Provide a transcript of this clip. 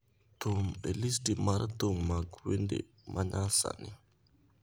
thum e listi mar thum mag wende ma nyasani